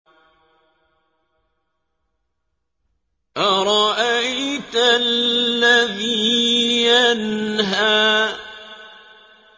أَرَأَيْتَ الَّذِي يَنْهَىٰ